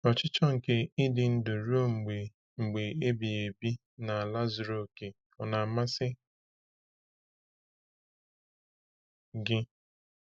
Ọchịchọ nke ịdị ndụ ruo mgbe mgbe ebighị ebi n’ala zuru oke ọ na-amasị gị?